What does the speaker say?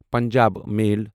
Punjab میل